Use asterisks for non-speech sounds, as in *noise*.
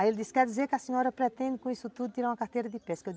Aí ele disse, quer dizer que a senhora pretende com isso tudo tirar uma carteira de pesca? Eu *unintelligible*